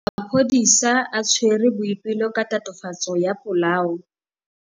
Maphodisa a tshwere Boipelo ka tatofatsô ya polaô.